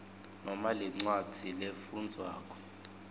noma lencwadzi lefundvwako